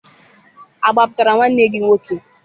Agbapụtara nwanne gị nwoke?